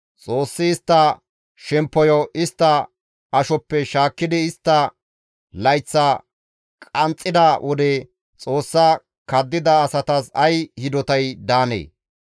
Xoossi istta shemppoyo istta ashoppe shaakkidi istta layththa qanxxida wode Xoossa kaddida asatas ay hidotay daandee?